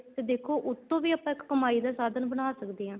ਦੇਖੋ ਉੱਤੋ ਵੀ ਆਪਾਂ ਇੱਕ ਕਮਾਈ ਦਾ ਸਾਧਨ ਬਣਾ ਸਕਦੇ ਹਾਂ